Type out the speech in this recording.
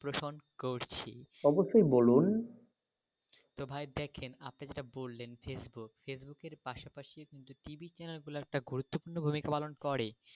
পোষণ করছি। অবশ্যই বলুন। তো ভাই দেখেন আপনি যেটা বললেন face book~ face book এর পাশাপাশি কিন্তু টিভি চ্যানেলগুলো একটা' গুরুত্ব পূর্ণ ভূমিকা পালন করে.